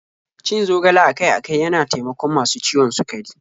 Cin zogale akai-akai yana taimakon masu ciwon sukari.